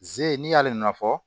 Ze n'i y'ale nɔ fɔ